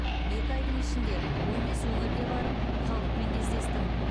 екі айдың ішінде он бес өңірге барып халықпен кездестім